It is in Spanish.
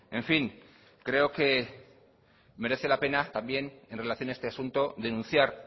en fin creo que merece la pena también en relación a este asunto denunciar